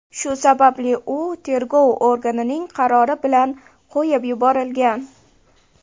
Shu sababli u tergov organining qarori bilan qo‘yib yuborilgan.